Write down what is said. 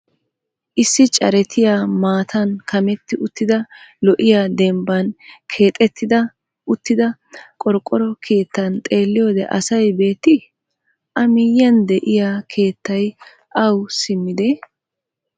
Issi caretiyaa maatan kametti uttida lo'iyaa dembban keexettida uttida qorqqoro keettan xeelliyoode asay beettii? A miyyiyaan de'iyaa keettay awa siimmidee?